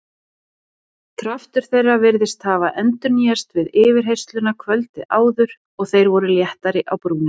Kraftur þeirra virtist hafa endurnýjast við yfirheyrsluna kvöldið áður og þeir voru léttari á brúnina.